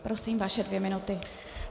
Prosím, vaše dvě minuty.